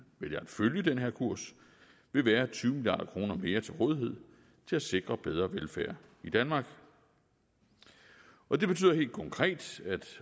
vælger at følge den her kurs vil være tyve milliard kroner mere til rådighed til at sikre bedre velfærd i danmark og det betyder helt konkret